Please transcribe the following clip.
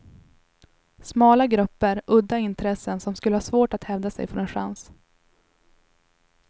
Smala grupper, udda intressen som skulle ha svårt att hävda sig får en chans.